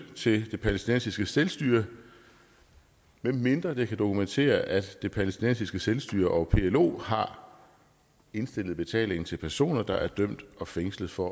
til det palæstinensiske selvstyre medmindre det kan dokumentere at det palæstinensiske selvstyre og plo har indstillet betalingen til personer der er dømt og fængslet for